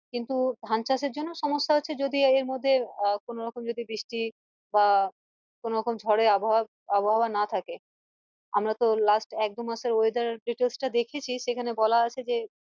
কিন্তু ধান চাষ এর জন্য সমস্যা হচ্ছে যদি এর মধ্যে আহ কোনোরকম যদি বৃষ্টি বা কোনোরকম ঝড় এর আবহাওয়া আবহাওয়া না থাকে আমরা তো last এক দশ মাসের weather details টা দেখেছি সেখানে বলেছে যে